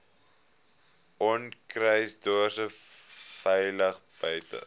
onkruiddoders veilig buite